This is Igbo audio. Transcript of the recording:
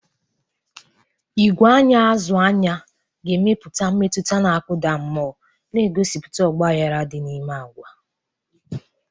Igwe anya azụ-anya ga-emepụta mmetụta na-akụda mmụọ, na-egosipụta ọgbaghara dị n'ime agwa.